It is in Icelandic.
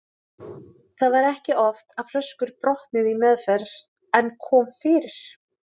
Það var ekki oft að flöskur brotnuðu í meðferð en kom fyrir.